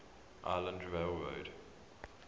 island rail road